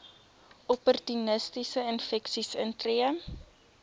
opportunistiese infeksies intree